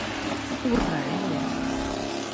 урае